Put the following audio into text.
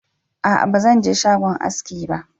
a'a ba Zan je shagon haski ba